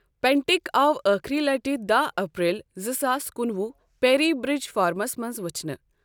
پینٹک آو ٲخٕری لَٹہِ دَہ اپریل زٕ ساس کُنوُہ پیری برج فارمَس منز ؤچھنہٕ ۔